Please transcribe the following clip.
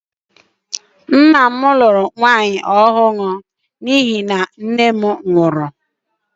Nna m lụrụ nwaanyị ọhụrụ n’ihi na nne m nwụrụ